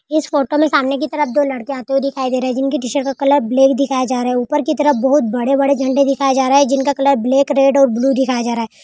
इस फोटो में सामने कि तरफ दो लड़के आते हुए दिखाई दे रहा जिनके टी-शर्ट का कलर ब्लैक दिखाया जा रहा है। ऊपर कि तरफ बहुत बड़े बड़े झंडे दिखाए जा रहा है। जिनका कलर ब्लैक रेड और ब्लू दिखाया जा रहा --